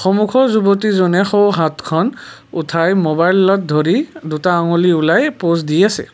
সন্মুখৰ যুৱতীজনে সোঁহাতখন উঠাই মোবাইলত ধৰি দুটা আগুলি ওলাই প'জ দি আছে।